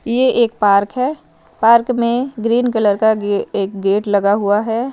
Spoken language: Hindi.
ये एक पार्क है पार्क में ग्रीन कलर का गे एक गेट लगा हुआ है।